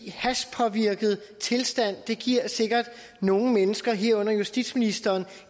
hashpåvirket tilstand giver sikkert nogle mennesker herunder justitsministeren